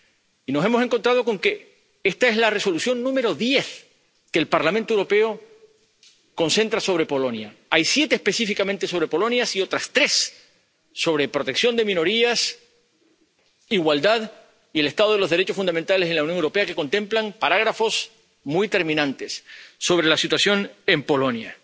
Y nos hemos encontrado con que esta es la Resolución número diez que el Parlamento Europeo concentra sobre Polonia. Hay siete específicamente sobre Polonia y otras tres sobre protección de minorías, igualdad y el estado de los derechos fundamentales en la Unión Europea, que contemplan apartados muy terminantes sobre la situación en Polonia.